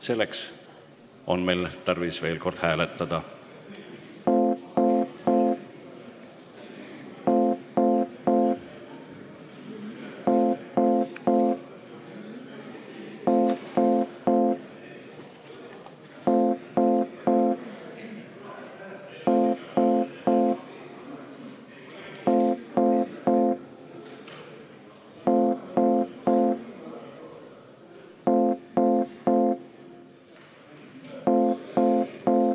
Selleks on meil tarvis veel kord hääletada.